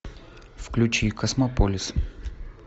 включи космополис